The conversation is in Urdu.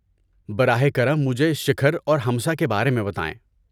براہ کرم مجھے شکھر اور ہمسہ کے بارے میں بتائیں۔